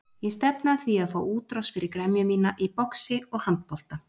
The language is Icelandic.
Ég stefni að því að fá útrás fyrir gremju mína í boxi og handbolta.